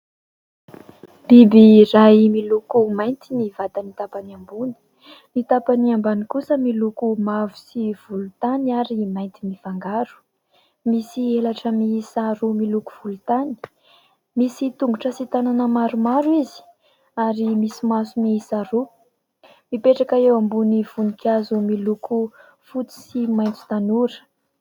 Biby iray, miloko mainty ny vatany tapany ambony ; ny tapany ambany kosa miloko mavo sy volontany ary mainty mifangaro. Misy helatra miisa roa miloko volontany, misy tongotra sy tanana maromaro izy, ary misy maso miisa roa. Mipetraka eo ambonin'ny voninkazo miloko fotsy sy maitso tanora.